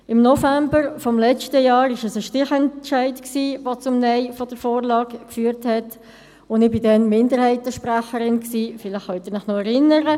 Im November letzten Jahres war es ein Stichentscheid, der zum Nein zur Vorlage führte – und ich war Sprecherin der Kommissionsminderheit, vielleicht können Sie sich noch daran erinnern.